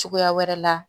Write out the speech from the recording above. Cogoya wɛrɛ la